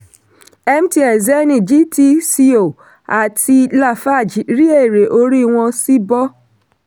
cs] mtn zenith gtco àti lafarge rí èrè orí wọn sì bọ́.